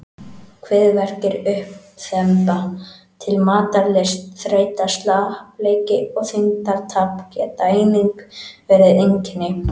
Kviðverkir, uppþemba, lítil matarlyst, þreyta, slappleiki og þyngdartap geta einnig verið einkenni.